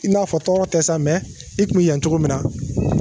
I n'a fɔ tɔɔrɔ tɛ sa i tun ye yan cogo min na